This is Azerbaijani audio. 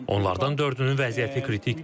Onlardan dördünün vəziyyəti kritikdir.